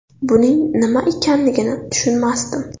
Buning nima ekanligini tushunmasdim.